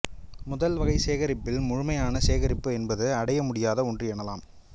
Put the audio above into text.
முதல் வகைச் சேகரிப்பில் முழுமையான சேகரிப்பு என்பது அடைய முடியாத ஒன்று எனலாம்